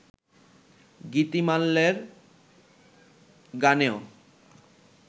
গীতিমাল্যের গানেও